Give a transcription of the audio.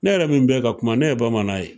Ne yɛrɛ min bɛ ka kuma ne ye bamanan ye